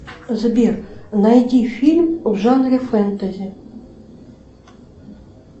сбер найди фильм в жанре фэнтези